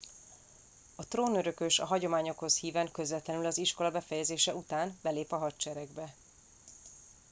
a trónörökös a hagyományokhoz híven közvetlenül az iskola befejezése után belép a hadseregbe